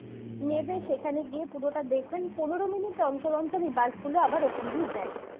নেবে সেখানে গিয়ে পুরোটা দেখবেন পনেরো minute অন্তর অন্তর এই bus গুলো আবার ওখান দিয়ে যাই